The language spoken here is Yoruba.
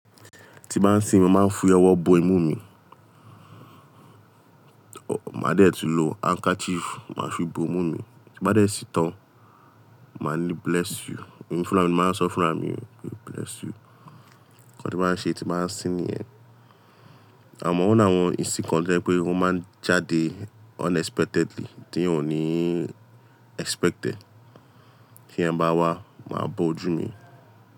Tí bá ń sín, máa ń fi ọwọ́ bo imú mi, máa dẹ̀ tun lo handkerchief máa fi bo imú mi. Tí n bá dẹ̀ sín tán, màá ní bless you, èmi fúnra mi máa ń sọ fúnra mi "Bless you". Nnkan tí n maá ń ṣe tí n bá ń sín ni ẹ. Àmọ́ oni awọn isin kan to jẹ pé wọ́n máa ń jáde unexpectedly, tí eeyan ò ní expect ẹ. Kí n ba wá, máa bo ojú mi.